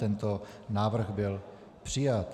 Tento návrh byl přijat.